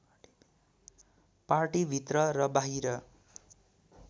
पार्टीभित्र र बाहिर